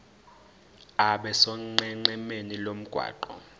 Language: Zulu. abe sonqenqemeni lomgwaqo